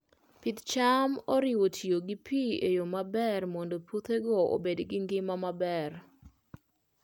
Pith cham oriwo tiyo gi pi e yo maber mondo puothego obed gi ngima maber.